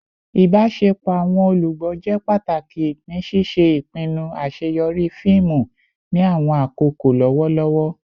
Ibaṣepọ awọn olugbo jẹ pataki ni ṣiṣe ipinnu aṣeyọri fiimu ni awọn akoko lọwọlọwọ